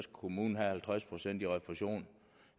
kommunen have halvtreds procent i refusion